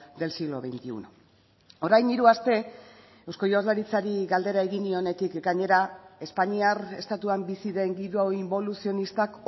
del siglo veintiuno orain hiru aste eusko jaurlaritzari galdera egin nionetik ekainera espainiar estatuan bizi den giro inboluzionistak